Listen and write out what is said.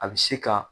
A bɛ se ka